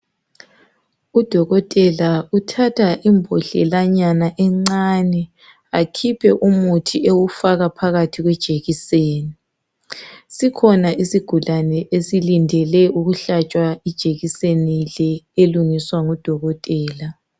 Udokotela uthatha imbodlelanyana encane akhiphe umuthi ewufaka phakathi kwejekiseni. Sikhona isigulane esilindele ukuhlatshwa ijekiseni le elungiswa ngudokotela.